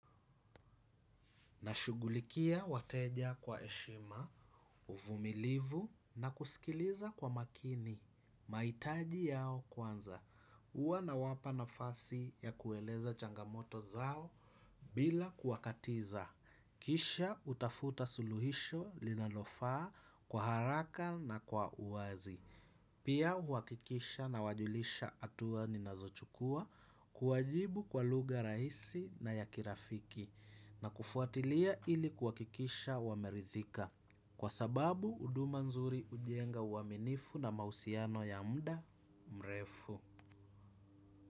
Nashugulikia wateja kwa heshima, uvumilivu na kusikiliza kwa makini, mahitaji yao kwanza, huwa nawapa nafasi ya kueleza changamoto zao bila kuwakatiza, kisha utafuta suluhisho linalofaa kwa haraka na kwa uazi. Pia huhakikisha na wajulisha hatua ninazochukua kuwajibu kwa lugha rahisi na ya kirafiki na kufuatilia ili kuwakikisha wameridhika. Kwa sababu, huduma nzuri hujenga huaminifu na mahusiano ya muda mrefu.